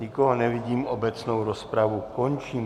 Nikoho nevidím, obecnou rozpravu končím.